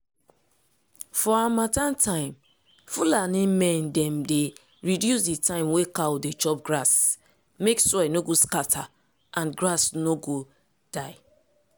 for harmattan time fulani men dem dey reduce di time wey cow dey chop grass mek soil no go scatter and grass no go die.